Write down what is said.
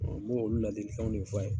N m'olu ladilikanw ne fɔ a ye.